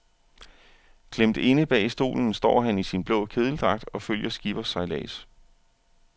Klemt inde bag stolen står han i sin blå kedeldragt og følger skippers sejlads.